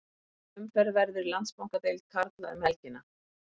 Heil umferð verður í Landsbankadeild karla um helgina.